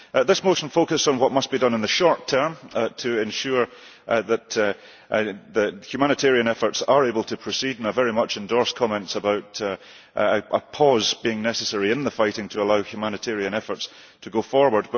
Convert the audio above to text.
This motion focused on what must be done in the short term to ensure that humanitarian efforts are able to proceed, and I very much endorse comments about a pause being necessary in the fighting to allow humanitarian efforts to go forward.